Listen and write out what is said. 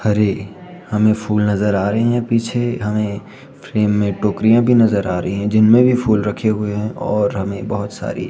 हरे हमें फूल नजर आ रहे हैं पीछे यहां एक फ्रेम में टोकरियां भी नजर आ रही हैं जिनमें भी फूल रखे हुए हैं और हमें बहोत सारी --